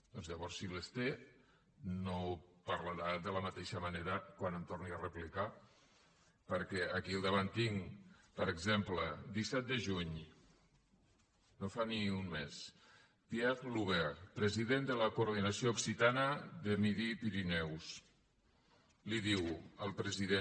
doncs llavors si les té no parlarà de la mateixa manera quan em torni a replicar perquè aquí al davant tinc per exemple disset de juny no fa ni un mes pierre loubert president de la coordinació occitana de midi pirineus li diu al president